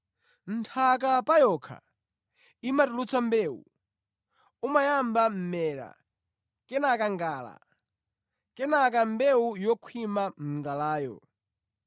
Nthaka pa yokha imatulutsa mbewu, umayamba mʼmera, kenaka ngala, kenaka mbewu yokhwima mʼngalayo.